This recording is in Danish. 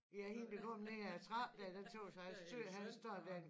Ja hende der kommer ned af trappen dér det tøs jeg er sød han står der